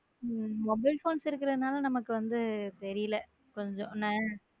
mobile phones இருக்கிறதுனால நமக்கு வந்து தெரியல கொஞ்சம் என்ன.